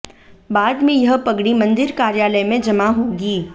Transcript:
बाद में यह पगड़ी मंदिर कार्यालय में जमा होगी